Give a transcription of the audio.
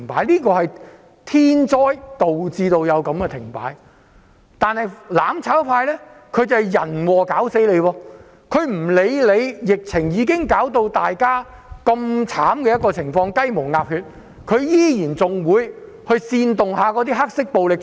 停擺是天災導致的，但"攬炒"卻是人禍，"攬炒派"無視疫情令大家如此慘痛和雞毛鴨血，依然煽動"黑暴"搗亂。